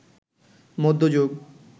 মধ্যযুগ